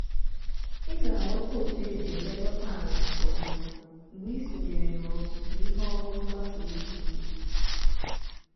ị ga-aghota otu esi elekọta ala nke ọma mgbe ị sonyere n'ọzụzụ onye ọrụ mgbasa ozi ugbo